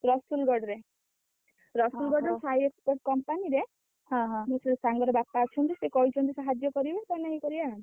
ରସୁଲଗଡ଼ରେ। ରସୁଲଗଡ଼ରେ ସାଇ company ରେ ମୋ ସେ ସାଙ୍ଗର ବାପା ଅଛନ୍ତି, ସେ କହିଛନ୍ତି, ସାହାଯ୍ୟ କରିବେ, ତାହେଲେ ଆମେ କରିଆ।